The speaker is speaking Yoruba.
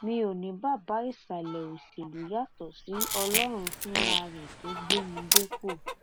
mi ò ní baba ìsàlẹ òṣèlú yàtọ sí ọlọrun fúnra rẹ tó gbé mi dépò